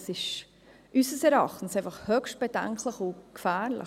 Dies ist unseres Erachtens höchst bedenklich und gefährlich.